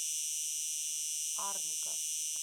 арника